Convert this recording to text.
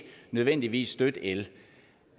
nødvendigvis skal støtte el